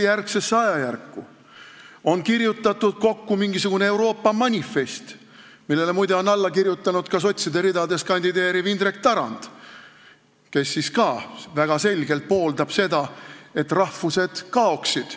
Kokku on kirjutatud mingisugune Euroopa manifest, millele on muide alla kirjutanud ka sotside ridades kandideeriv Indrek Tarand, kes siis ka väga selgelt pooldab seda, et rahvused kaoksid.